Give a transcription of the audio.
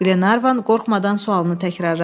Qlenarvan qorxmadan sualını təkrarladı.